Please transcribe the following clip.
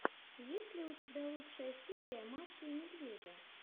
есть ли у тебя лучшая серия маши и медведя